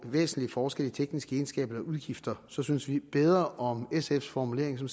væsentlige forskelle i tekniske egenskaber eller udgifter så synes vi bedre om sfs formulering som